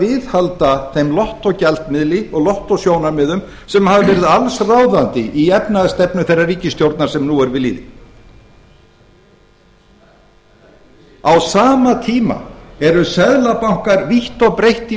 viðhalda þeim lottógjaldmiðli og lottósjónarmiðum sem hafa verið allsráðandi í efnahagsstefnu þeirrar ríkisstjórnar sem nú er við lýði á sama tíma eru seðlabankar vítt og breitt í